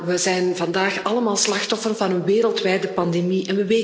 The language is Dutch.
We zijn vandaag allemaal slachtoffer van een wereldwijde pandemie.